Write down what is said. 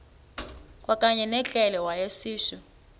kwakanye ngekrele wayishu